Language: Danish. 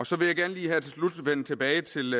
så vil jeg gerne her til slut lige vende tilbage til